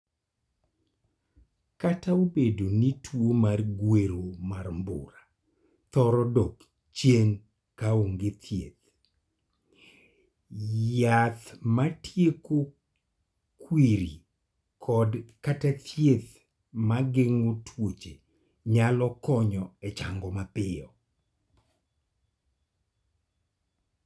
Kata obedo ni tuo mar gwero mar mbura thoro dok chien ka onge thieth, yath matieko kwiri kod/kata thieth ma geng'o tuoche nyalo konyo e chango mapiyo.